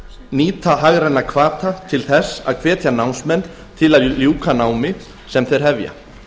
nýta hagræna hvata til þess að hvetja námsmenn til að ljúka námi sem þeir hefja